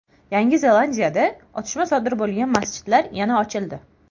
Yangi Zelandiyada otishma sodir bo‘lgan masjidlar yana ochildi.